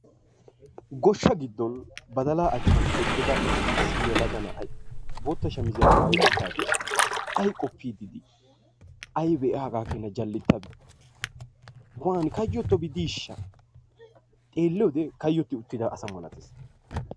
goshsha giddon badalaa achchan eqqida issi yelaga na'ay bootta shamisiyaa maayi uttaagee ayi qooppiidi dii? aybee a hagaa keenaa jalettabi? wanii kayyotobi diishsha? xeeliyoode kaayotti uttida asa milatees.